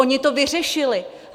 Oni to vyřešili.